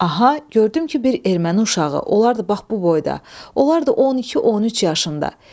Aha, gördüm ki, bir erməni uşağı, olardı bax bu boyda, olardı 12-13 yaşında.